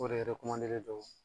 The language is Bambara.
O de don